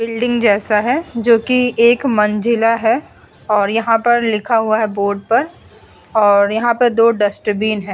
Building जैसा है जोकि एक मंजिला है और यहाँ पर लिखा हुआ है बोर्ड पर और यहाँ पर दो डस्टबिन है।